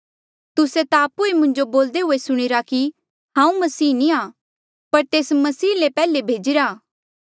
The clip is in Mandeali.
तुस्से ता आपु ई मुंजो बोलदे हुए सुणीरा कि हांऊँ मसीह नी आ पर तेस मसीह ले पैहले भेजीरा